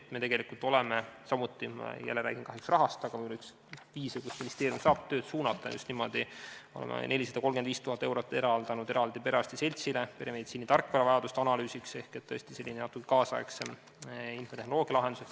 Me oleme tegelikult eraldanud – jälle räägin kahjuks rahast, aga see on üks viise, kuidas ministeerium saab tööd suunata – 435 000 perearstide seltsile peremeditsiini tarkvaravajaduste analüüsiks et saaks tehtud selline tänapäevasem infotehnoloogialahendus.